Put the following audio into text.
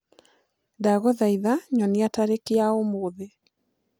ndagũthaĩtha nyonĩa tarĩkĩ ya ũmũthĩ